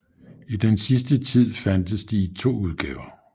I den sidste tid fandtes de i to udgaver